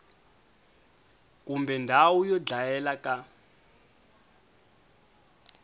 kumbe ndhawu yo dlayela ka